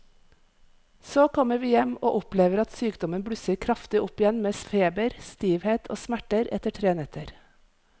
Så kommer vi hjem og opplever at sykdommen blusser kraftig opp igjen med feber, stivhet og smerter etter tre netter.